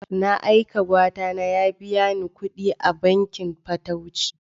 Na aika Gwatana ya biya ni kuɗi a bankin fatauci.